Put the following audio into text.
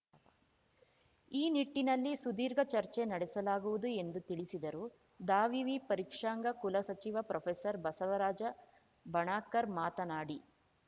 ಈ ನಿಟ್ಟಿನಲ್ಲಿ ಸುದೀರ್ಘ ಚರ್ಚೆ ನಡೆಸಲಾಗುವುದು ಎಂದು ತಿಳಿಸಿದರು ದಾವಿವಿ ಪರೀಕ್ಷಾಂಗ ಕುಲ ಸಚಿವ ಪ್ರೊಫೆಸರ್ಬಸವರಾಜ ಬಣಕಾರ್‌ ಮಾತನಾಡಿ